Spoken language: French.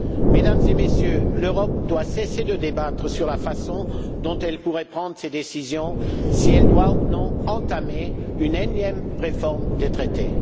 Mesdames et Messieurs, l'Europe doit cesser de débattre sur la façon dont elle pourrait prendre ses décisions, sur la question de savoir si elle doit ou non entamer une énième réforme des traités.